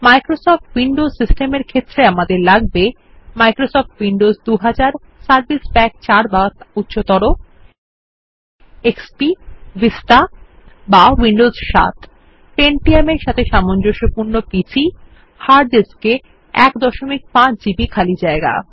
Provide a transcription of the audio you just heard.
Microsoft Windows সিস্টেমের ক্ষেত্রে আমাদের লাগবে মাইক্রোসফ্ট উইন্ডোস ২০০০ সার্ভিস প্যাক ৪ বা উচ্চতর XPএক্ষপী Vistaবিস্টা বা উইন্ডোস ৭ Pentium এর সাথে সামঞ্জস্যপূর্ণ পিসি হার্ড ডিস্কে 15 জিবি খালি জায়গা